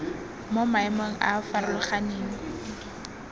mo maemong a a farologaneng